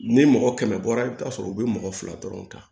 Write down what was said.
Ni mɔgɔ kɛmɛ bɔra i bi taa sɔrɔ u be mɔgɔ fila dɔrɔn ta